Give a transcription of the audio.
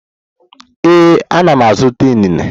Ee, ana m azụta inine.